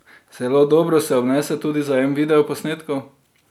Zelo dobro se obnese tudi zajem videoposnetkov.